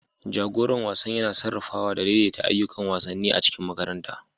Jagoran wasan yana sarrafawa da daidaita ayyukan wasanni a cikin makaranta.